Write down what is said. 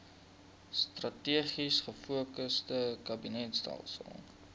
strategies gefokusde kabinetstelsel